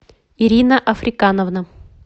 ирина африкановна